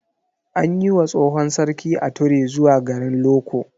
An yi wa tsohon sarki ature zuwa garin Loko.